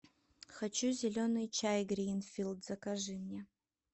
хочу зеленый чай гринфилд закажи мне